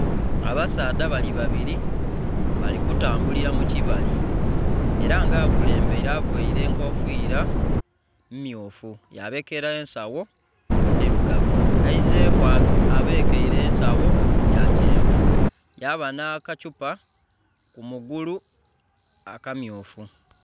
Abasaadha balibabiri balikutambulira mukyibali era ng' akulembere avaire enkofira mmyufu yabekera ensagho ndirugavu ayizeku abekeire ensagho yakyenvu yaba nakyupa kumugulu akamyufu